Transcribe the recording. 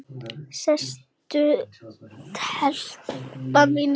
Sestu telpa mín, sagði hann.